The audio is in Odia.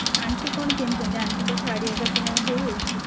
aunty କଣ କିଣିଛନ୍ତି aunty ଙ୍କ ଶାଢୀ ଆରିକା କିଣା ହେଇଯାଇଛି?